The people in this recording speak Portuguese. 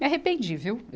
Me arrependi, viu?